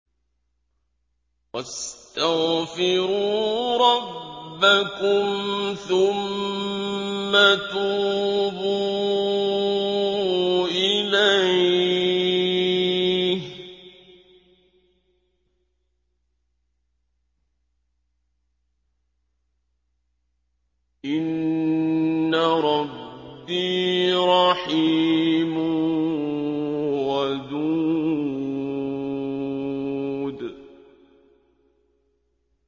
وَاسْتَغْفِرُوا رَبَّكُمْ ثُمَّ تُوبُوا إِلَيْهِ ۚ إِنَّ رَبِّي رَحِيمٌ وَدُودٌ